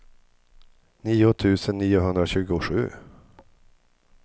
nio tusen niohundratjugosju